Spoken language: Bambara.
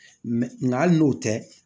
nka hali n'o tɛ